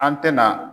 An tɛna